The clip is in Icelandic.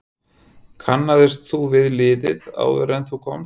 Kannaðist þú við liðið áður en þú komst?